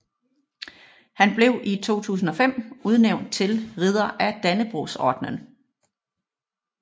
Han blev i 2005 udnævnt til ridder af Dannebrogordenen